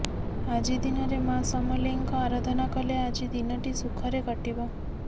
ଆଜି ଦିନରେ ମା ସମଲେଇଙ୍କ ଆରାଧନା କଲେ ଆଜି ଦିନଟି ସୁଖରେ କଟିବ